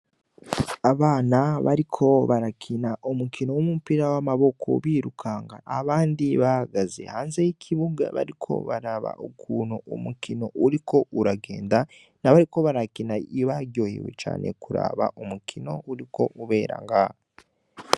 Abana bariko barakina umukino w'umupira wamaboko birukanga abandi bahagaze hanze y'ikibuga bariko baraba ukuntu umukino uriko uragenda ntibariko barakina baryohewe cane nukuraba ukuntu umukino uriko ubera ngaho.